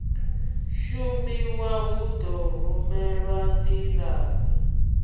shumiwa hu ḓo rumelwa nḓivhadzo